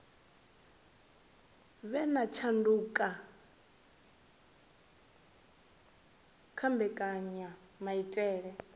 vhe na tshanduko kha mbekanyamaitele